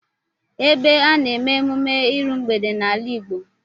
Ebe a na-eme emume iru mgbede n'ala Igbo